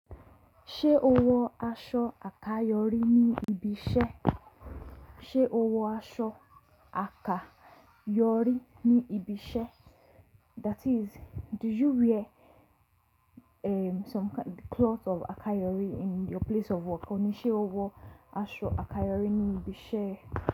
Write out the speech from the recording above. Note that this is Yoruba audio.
Ṣé o wọ aṣọ àkayòrí ní ibi iṣẹ́? Ṣé o wọ aṣọ àkayòrí ní ibi iṣẹ́? That is, do you wear, um, some cloth of àkayòrí in your place of work? Òní ṣé o wọ aṣọ àkayòrí ní ibi iṣẹ́